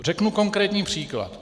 Řeknu konkrétní příklad.